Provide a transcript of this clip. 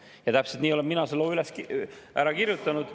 Ja täpselt nii olen mina selle loo kirjutanud.